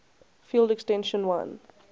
field extension l